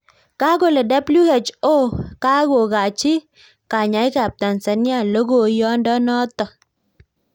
Kakolee WHO kakokachii kanyaik ap Tanzania logoiyondo notok